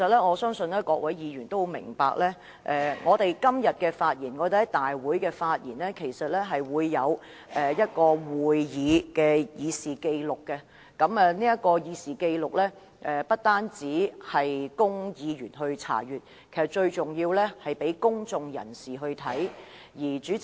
我相信各位議員都知道，我們今天在立法會會議的發言，都會載入立法會會議過程正式紀錄。這份紀錄不單供議員查閱，更重要的是讓公眾人士參閱。